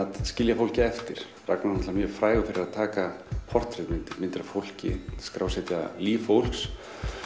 að skilja fólkið eftir Ragnar er mjög frægur fyrir að taka portrett myndir myndir af fólki skrásetja líf fólks